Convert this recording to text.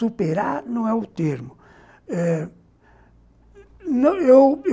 Superar não é o termo eh